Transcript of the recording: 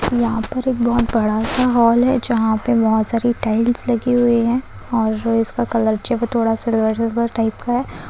यहाँ पर एक बोहत बड़ा सा हाल है जहाँ पै बोहत सारी टाइल्स लगी हुई हैं और इसका कलर थोड़ा सिल्वर टाइप का है।